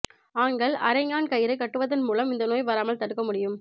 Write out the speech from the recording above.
ஆண்கள் அரைஞாண் கயிறு கட்டுவதன் மூலம் இந்த நோயை வராமல் தடுக்க முடியும்